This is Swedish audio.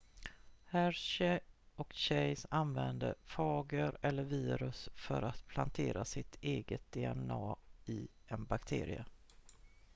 hershey och chase använde fager eller virus för att plantera sitt eget dna i en bakterie